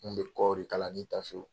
N kun bɛ kɔɔri kala n'i tafew